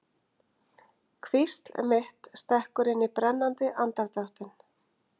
Hvísl mitt stekkur inn í brennandi andardráttinn.